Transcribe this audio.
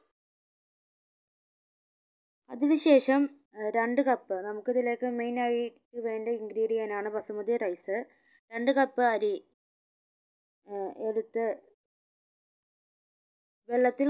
അതിന് ശേഷം ഏർ രണ്ട് cup നമുക്ക് ഇതിലേക്ക് main ആയി വേണ്ട ingredient ആണ് ബസുമതി rice രണ്ട് cup അരി ഏർ എടുത്ത് വെള്ളത്തിൽ